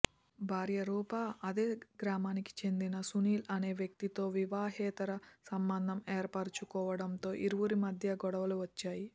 భార్య రూప అదే గ్రామానికి చెందిన సునీల్ అనే వ్యక్తితో వివాహేతర సంబంధం ఏర్పరుచుకోవడంతో ఇరువురి మధ్య గొడవలు వచ్చాయి